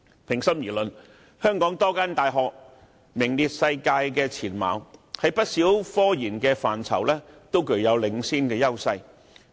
平心而論，香港多間大學都在不少科研範疇具領先優勢，位處世界前列。